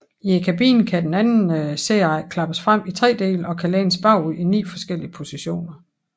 I kabinen kan den anden sæderække klappes frem i tre dele og kan lænes bagud i ni forskellige positioner